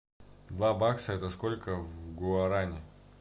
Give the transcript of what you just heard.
два бакса это сколько в гуаране